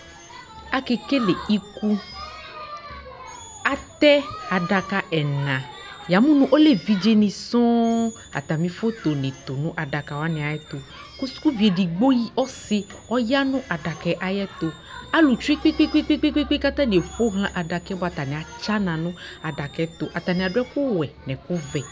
Akekele iku: atɛ adaka ɛna, yamʋ nʋ ɔlɛ evidzenɩ sɔɔŋ ;atamɩ fotonɩ tʋ nʋ adakawanɩ ayɛtʋ Kʋ sukuvi edigbo ya ɔsɩ ɔya nʋ adzkaɛ ayɛtʋ Alʋ tsue kpekpekpekpekpe k'atanɩe ƒohlã adakaɛ bʋa atanɩ atsana nʋ adakaɛtʋ Atanɩ adʋ ɛkʋwɛ nʋ ɛkʋvɛ